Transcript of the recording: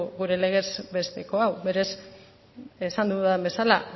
gure legez besteko hau berez esan dudan bezala